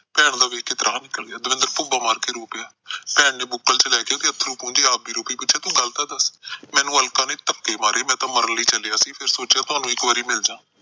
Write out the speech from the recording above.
ਭੈਣ ਦਾ ਨਿੱਕਲ ਗਿਆ। ਦਵਿੰਦਰ ਭੁੱਬਾ ਮਾਰ ਕੇ ਰੋ ਪਿਆ। ਭੈਣ ਨੇ ਬੁੱਕਲ ਚ ਲੈ ਕੇ ਉਹਦੇ ਅਥਰੂ ਪੂੰਜੇ, ਆਪ ਵੀ ਰੋ ਪਈ, ਪੁਛਿਆ ਤੂੰ ਮੈਨੂੰ ਗੱਲ ਤਾਂ ਦੱਸ। ਮੈਨੂੰ ਅਲਕਾ ਨੇ ਧੱਕੇ ਮਾਰੇ, ਮੈਂ ਤਾਂ ਮਰਨ ਲਈ ਚੱਲਿਆ ਸੀ, ਫਿਰ ਸੋਚਿਆ ਤੁਹਾਨੂੰ ਇੱਕ ਵਾਰ ਮਿਲ ਜਾ।